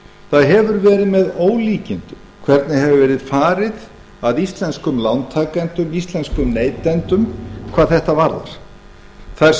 það hefur verið með ólíkindum hvernig hefur verið farið að íslenskum lántakendum íslenskum neytendum hvað þetta varðar þar